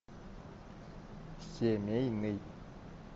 семейный